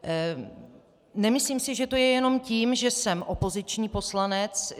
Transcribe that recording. Nemyslím se, že to je jenom tím, že jsem opoziční poslanec.